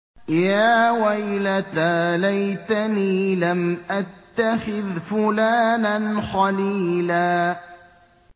يَا وَيْلَتَىٰ لَيْتَنِي لَمْ أَتَّخِذْ فُلَانًا خَلِيلًا